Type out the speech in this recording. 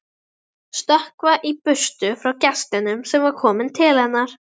Stökkva í burtu frá gestinum sem var kominn til hennar.